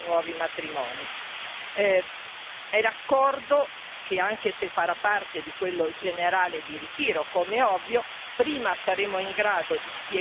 L'accordo, anche se farà parte di quello generale di ritiro, com'è ovvio, prima saremo in grado di spiegarlo a questi cittadini e meglio sarà.